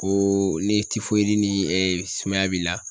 Koo ni ni sumaya b'i la